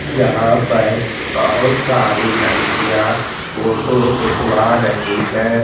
जहाँ पर बहुत सारी लड़कियाँ फोटो खिंचवा रही है।